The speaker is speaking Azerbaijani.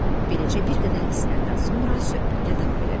Beləcə bir qədər isinəndən sonra söhbətə davam elədilər.